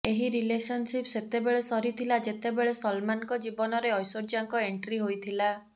ଏହି ରିଲେସନସିପ୍ ସେତେବେଳେ ସରିଥିଲା ଯେତେବେଳେ ସଲମାନଙ୍କ ଜୀବନରେ ଐଶ୍ୱର୍ଯ୍ୟାଙ୍କ ଏଣ୍ଟ୍ରି ହୋଇଥିଲା